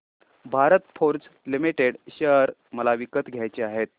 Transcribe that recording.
Bharat Forge Limited share मला विकत घ्यायचे आहेत